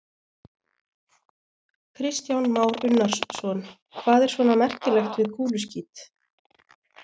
Kristján Már Unnarsson: Hvað er svona merkilegt við kúluskít?